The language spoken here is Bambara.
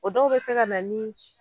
O dɔw be se ka na ni